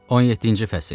17-ci fəsil.